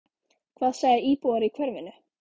Hvað segja íbúar í hverfinu?